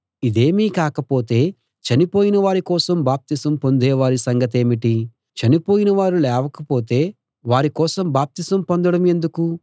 ఇదేమీ కాకపోతే చనిపోయిన వారి కోసం బాప్తిసం పొందేవారి సంగతేమిటి చనిపోయినవారు లేవకపోతే వారి కోసం బాప్తిసం పొందడం ఎందుకు